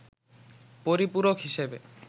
পরিপূরক হিসেবে